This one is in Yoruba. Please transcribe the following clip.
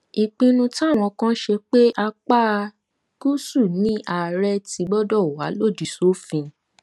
ìpinnu táwọn kan ṣe pé apá gúúsù ni àárẹ ti gbọdọ wà lòdì sófin